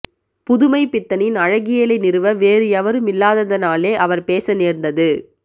புதுமைப்பித்தனின் அழகியலை நிறுவ வேறு எவரும் இல்லாததனாலே அவர் பேச நேர்ந்தது